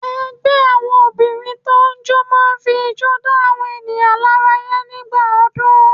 Ẹgbẹ́ àwọn Obìnrin tó n jó máa fi ijó dá àwọn ènìyàn lára yá nígbà ọdún